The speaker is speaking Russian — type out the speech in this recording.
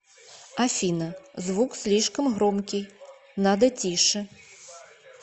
афина звук слишком громкий надо тише